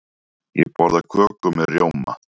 Ég borða köku með rjóma.